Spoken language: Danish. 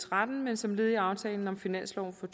tretten men som led i aftalen om finansloven for